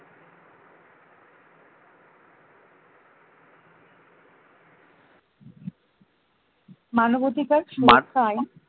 মানবাধিকার সুরক্ষায়